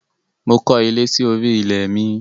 Mo kọ́ ilé sí orí ilẹ̀ mi.